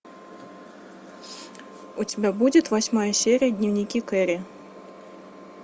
у тебя будет восьмая серия дневники кэрри